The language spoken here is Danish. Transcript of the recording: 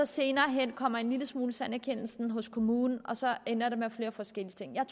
senere hen kommer en lille smule erkendelse hos kommunen og så ender det med flere forskellige ting jeg